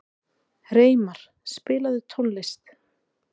Reimar, spilaðu tónlist.